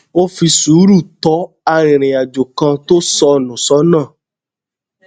ó fi sùúrù tó arìnrìnàjò kan tó sọ nù sónà